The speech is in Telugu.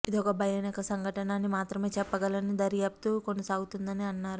ఇదొక భయానక సంఘటన అని మాత్రమే చెప్పగలనని దర్యాప్తు కొనసాగుతోందని అన్నారు